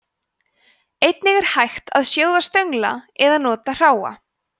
einnig er hægt að sjóða stönglana eða nota hráa